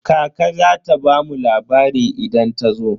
Kaka za ta bamu labari idan ta zo.